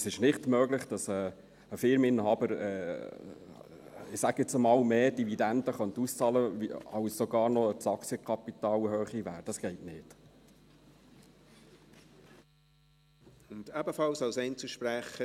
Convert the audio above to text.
Es ist nicht möglich, dass ein Firmeninhaber – ich sage jetzt einmal – mehr Dividenden auszahlen könnte, als die Höhe des Aktienkapitals beträgt.